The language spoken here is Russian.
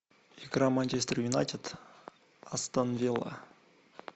игра манчестер юнайтед астен вилла